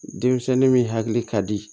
Denmisɛnnin min hakili ka di